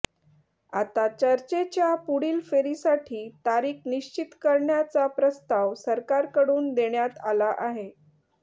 आता चर्चेच्या पुढील फेरीसाठी तारीख निश्चित करण्याचा प्रस्ताव सरकारकडून देण्यात आला आहे